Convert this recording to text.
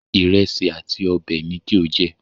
Ìrẹsì àti ọbẹ̀ ni kí o jẹ